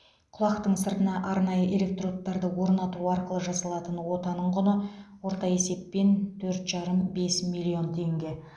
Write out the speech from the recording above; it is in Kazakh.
құлақтың сыртына арнайы электродтарды орнату арқылы жасалатын отаның құны орта есеппен төрт жарым бес миллион теңге